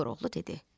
Koroğlu dedi: